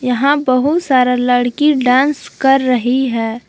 यहां बहुत सारा लड़की डांस कर रही है।